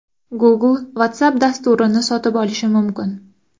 Google Whatsapp dasturini sotib olishi mumkin.